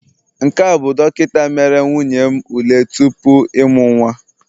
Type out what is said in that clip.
Nke a bụ dọkịta mere nwunye m ule tupu ịmụ nwa